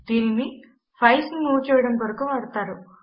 దీనిని ఫైల్స్ ను మూవ్ చేయడము కొరకు వాడతారు